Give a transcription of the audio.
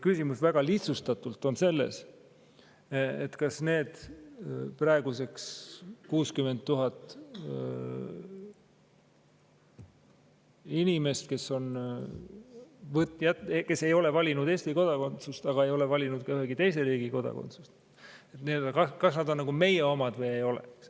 Küsimus väga lihtsustatult on selles, kas need praeguseks 60 000 inimest, kes ei ole valinud Eesti kodakondsust, aga ei ole valinud ka ühegi teise riigi kodakondsust, on nagu meie omad või ei ole.